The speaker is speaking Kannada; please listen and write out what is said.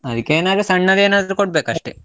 ಅದಕ್ಕೇನದ್ರೂ ಸಣ್ಣದೇನಾದ್ರೂ ಕೊಡ್ಬೇಕು ಅಷ್ಟೇ.